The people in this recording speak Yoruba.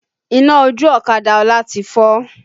Iná ojú ọ̀kadà Ọlá ti fọ́